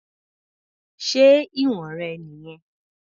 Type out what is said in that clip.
Ṣé ìwọ̀n rẹ̀ nìyẹn?